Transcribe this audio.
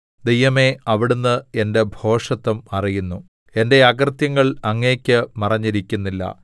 ദൈവമേ അവിടുന്ന് എന്റെ ഭോഷത്തം അറിയുന്നു എന്റെ അകൃത്യങ്ങൾ അങ്ങേക്ക് മറഞ്ഞിരിക്കുന്നില്ല